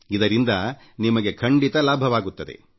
ಇದರಿಂದ ನಿಮಗೆ ಖಂಡಿತಾ ಲಾಭವಾಗುತ್ತದೆ